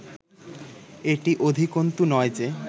এটি অধিকন্তু নয় যে